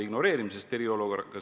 Kolm minutit lisaaega.